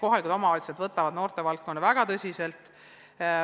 Nii et omavalitsused võtavad noortetööd väga tõsiselt.